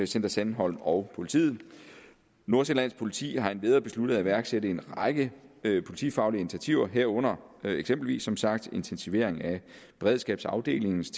center sandholm og politiet nordsjællands politi har endvidere besluttet at iværksætte en række politifaglige initiativer herunder eksempelvis som sagt intensivering af beredskabsafdelingens